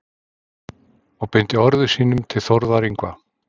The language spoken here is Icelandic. og beindi orðum sínum til Þórðar Yngva.